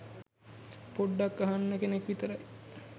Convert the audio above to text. පොඞ්ඩක් අහන්න කෙනෙක් විතරයි.